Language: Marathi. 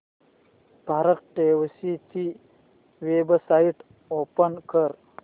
भारतटॅक्सी ची वेबसाइट ओपन कर